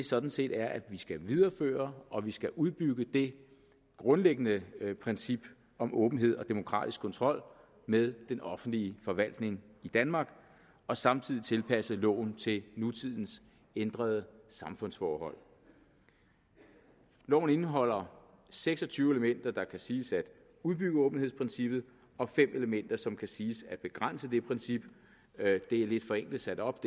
sådan set er at vi skal videreføre og vi skal udbygge det grundlæggende princip om åbenhed og demokratisk kontrol med den offentlige forvaltning i danmark og samtidig tilpasse loven til nutidens ændrede samfundsforhold loven indeholder seks og tyve elementer der kan siges at udbygge åbenhedsprincippet og fem elementer som kan siges at begrænse det princip det er lidt forenklet sat op